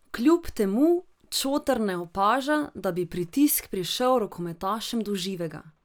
Kljub temu Čotar ne opaža, da bi pritisk prišel rokometašem do živega.